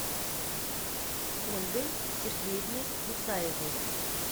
ольгой сергеевной мусаевой